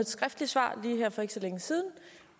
skriftligt svar lige her for ikke så længe siden